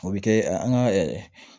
O bɛ kɛ an ka